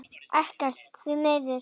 Ekkert, því miður.